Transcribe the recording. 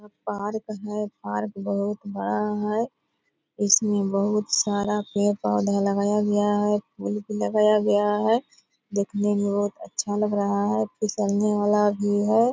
पहाड़ तो है पार्क बहुत बड़ा है। इसमें बहुत सारा पेड़-पौधा लगाया गया है। फूल भी लगाया गया है। दिखने में बहुत अच्छा लग रहा है। फिसलने वाला भी है।